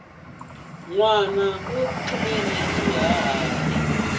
nwana u tlule na xihahati